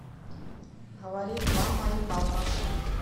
говорит мама и папа